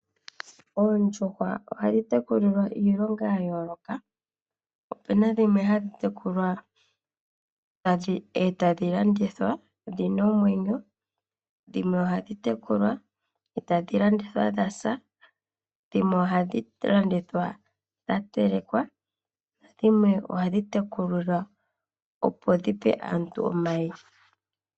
Oondjuhwa ohadhi tekulilwa iilonga ya yooloka opena dhimwe hadhi tekulwa etadhi landithwa dhina omwenyo dhimwe ohadhi tekulwa etadhi landithwa dhasa dhimwe ohadhi landithwa dha telekwa na dhimwe ohadhi tekulilwa opo dhipe aantu omayi.